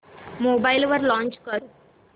mobile वर launch कर